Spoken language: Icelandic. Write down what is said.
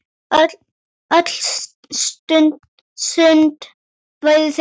Öll sund væru þeim lokuð.